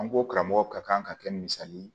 An ko karamɔgɔ ka kan ka kɛ misali ye